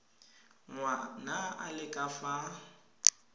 ngwana a le ka fa